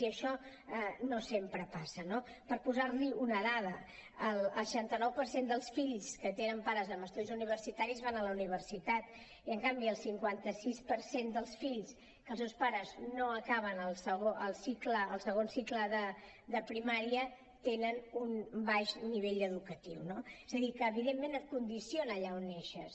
i això no sempre passa no per posar li una dada el seixanta nou per cent dels fills que tenen pares amb estudis universitaris van a la universitat i en canvi el cinquanta sis per cent dels fills que els seus pares no acaben el cicle el segon cicle de primària tenen un baix nivell educatiu no és adir que evidentment et condiciona allà on neixes